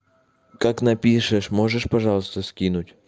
как напишешь можешь пожалуйста скинуть